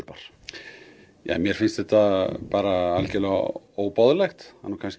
Klausturbar mér finnst þetta algjörlega óboðlegt